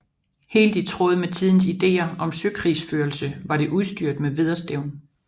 Helt i tråd med tidens ideer om søkrigsførelse var det udstyret med vædderstævn